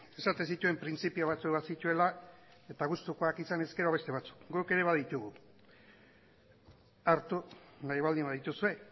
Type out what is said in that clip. esaten zituen printzipio batzuk bazituela eta gustukoak izan ezkero beste batzuk guk ere baditugu hartu nahi baldin badituzue